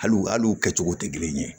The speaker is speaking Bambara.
Hali u al'u kɛcogo tɛ kelen ye